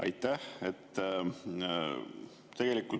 Aitäh!